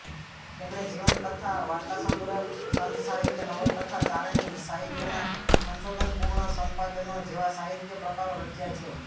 તેમણે જીવનકથા વાર્તાસંગ્રહ સંતસાહિત્ય નવલકથા ચારણી સાહિત્યનાં સંશોધનપૂર્ણ સંપાદનો જેવા સાહિત્ય પ્રકારો રચ્યા છે